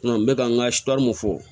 N bɛ ka n ka mun fɔ